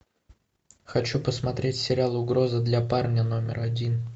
хочу посмотреть сериал угроза для парня номер один